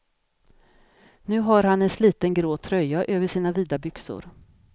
Nu har han en sliten grå tröja över sina vida byxor.